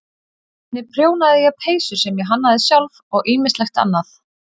Einnig prjónaði ég peysur sem ég hannaði sjálf og ýmislegt annað.